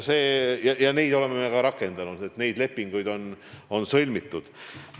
Ja neid oleme me ka rakendanud, nendega on lepinguid sõlmitud.